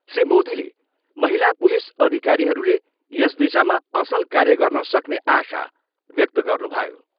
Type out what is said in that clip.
श्री मोदीले महिला पुलिस अधिकरीहरूले यस दिशामा असल कार्य गर्न सक्ने आशा व्यक्त गर्नुभयो।